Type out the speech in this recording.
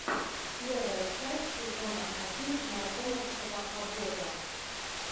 первая часть сезона один наркомовского обоза